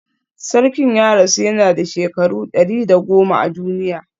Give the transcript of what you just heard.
Sarkin ya rasu yana da shekaru 110 a duniya